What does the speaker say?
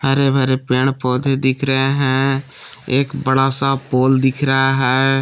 हरे भरे पेड़ पौधे दिख रहे हैं एक बड़ा सा पोल दिख रहा है।